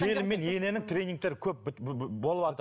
келін мен ененің тренинигтері көп